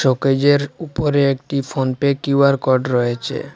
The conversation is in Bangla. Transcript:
চোকেজের উপরে একটি ফোনপে কিউ_আর কোড রয়েছে।